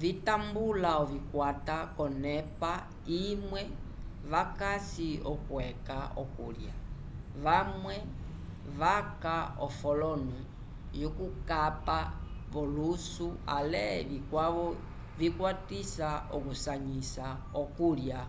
vitambula ovikwata k'onep imwe vakasi yokweca okulya vamwe vaca ofolono yokukapa v'olusu ale vikwavo vikwatisa okusanyisa okulya